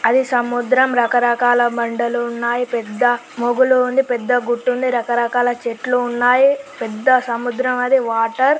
అది సముద్రం రకరకాల బండలు ఉన్నాయి పెద్ద మోగులు ఉంది. పెద్ద గుట్ట ఉంది. రకరకాల చెట్లు ఉన్నాయి. పెద్ద సముద్రం అది వాటర్--